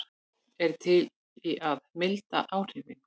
Er til í að milda áhrifin